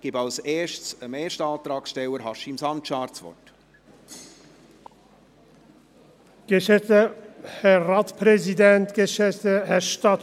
Ich gebe zuerst dem ersten Antragsteller, Haşim Sancar, das Wort.